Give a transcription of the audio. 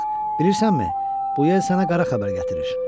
Balıq, bilirsənmi, bu yel sənə qara xəbər gətirir.